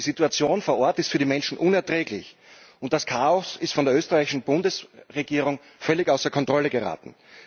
Die Situation vor Ort ist für die Menschen unerträglich und sie ist der österreichischen Bundesregierung völlig außer Kontrolle geraten.